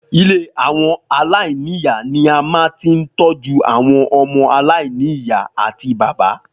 Ilé àwọn aláìní ìyá ni a a máa ń tí ń tọ́jú àwọn ọmọ aláìní ìyá àti bàbá